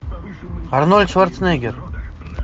арнольд шварценеггер